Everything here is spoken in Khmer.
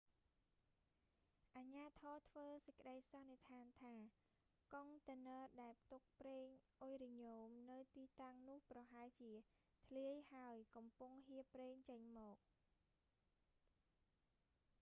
អាជ្ញាធរធ្វើសេចក្តីសន្និដ្ឋានថា កុងតឺន័រដែលផ្ទុកប្រេងអ៊ុយរ៉ាញ៉ូមនៅទីតាំងនោះ ប្រហែលជា ធ្លាយហើយកំពុងហៀរប្រេងចេញមក